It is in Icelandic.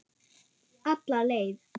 Alla leið.